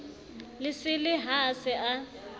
lesele ha a se a